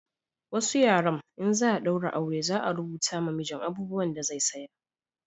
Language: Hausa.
Wasu yaren in za a daura aure za a rubuta ma mijin abubuwan da zai saya